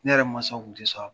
Ne yɛrɛ mansaw tun tɛ sɔn